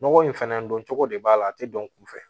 Nɔgɔ in fɛnɛ dɔn cogo de b'a la a ti dɔn kunfɛ